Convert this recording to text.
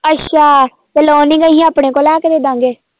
ਅੱਛਾ ਤੇ ਲੋਨਿੰਗ ਅਸੀਂ ਆਪਣੇ ਕੋਲੋਂ ਲੈ ਕੇ ਦੇ ਦੇਵਾਂਗੇ।